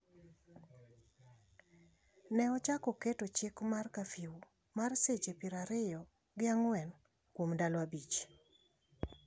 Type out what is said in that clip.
ne ochako keto chik mar kafiu mar seche piero ariyo gi ang'wen kuom ndalo abich,